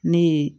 Ne ye